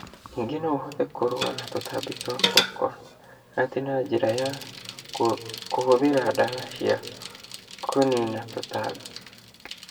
Ningĩ no ũhote kũrũa na tũtambi twa kokonati na njĩra ya kũhũthĩra ndawa cia kũniina tũtambi.